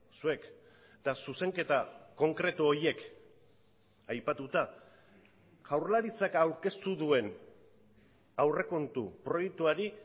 zuek eta zuzenketa konkretu horiek aipatuta jaurlaritzak aurkeztu duen aurrekontu proiektuari